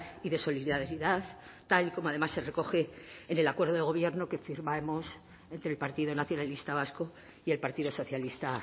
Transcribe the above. y de solidaridad tal y como además se recoge en el acuerdo de gobierno que firmamos entre el partido nacionalista vasco y el partido socialista